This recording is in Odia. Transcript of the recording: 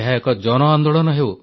ଏକ ଜନଆନ୍ଦୋଳନ ହେଉ